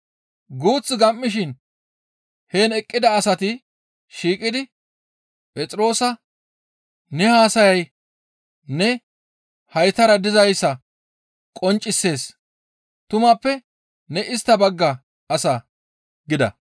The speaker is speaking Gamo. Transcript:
Guuth gam7ishin heen eqqida asati shiiqidi Phexroosa, «Ne haasayay ne haytara dizayssa qonccisees; tumappe ne istta bagga asa» gida.